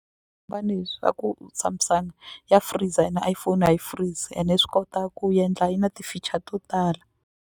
hi swa ku Samsung ya freezer ene iPhone a yi freeze ende swi kota ku endla yi na ti-feature to tala.